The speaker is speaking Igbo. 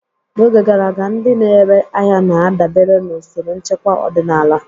N'oge gara aga, ndị na-ere ahịa na-adabere na usoro nchekwa ọdịnala.